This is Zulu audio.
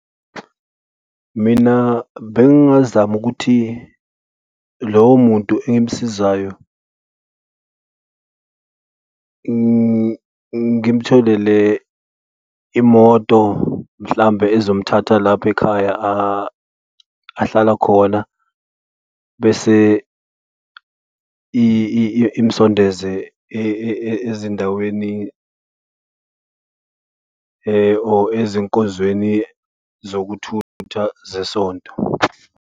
Mina bengazama ukuthi lowo muntu engumsizayo, ngimtholele imoto, mhlambe ezomthatha lapha ekhaya ahlala khona bese imsondeze ezindaweni or ezinkozweni zokuthutha zesonto.